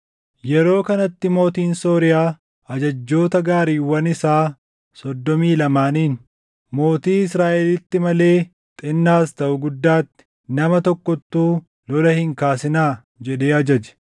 Yeroo kanatti mootiin Sooriyaa ajajjoota gaariiwwan isaa soddomii lamaaniin, “Mootii Israaʼelitti malee xinnaas taʼu guddaatti, nama tokkottuu lola hin kaasinaa” jedhee ajaje.